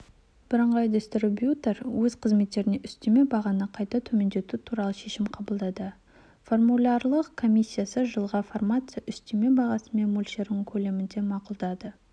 бірыңғай дистрибьютор өз қызметтеріне үстеме бағаны қайта төмендету туралы шешім қабылдады формулярлық комиссиясы жылға фармация үстеме бағасының мөлшерін көлемінде мақұлдады